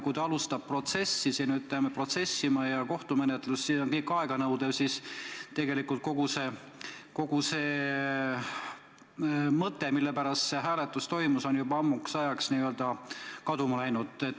Kui ta hakkab protsessima ja alustab ehk isegi kohtumenetlust, siis see kõik on aeganõudev ja tegelikult kogu see mõte, mille pärast selline hääletus toimus, on juba ammu kaduma läinud.